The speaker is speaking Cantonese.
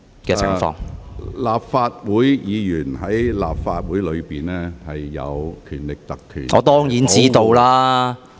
鄭議員，立法會議員在立法會的言論受《立法會條例》保障......